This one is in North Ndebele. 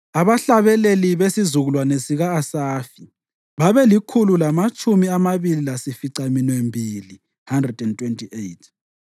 Abahlabeleli: besizukulwane sika-Asafi babelikhulu lamatshumi amabili lasificaminwembili (128).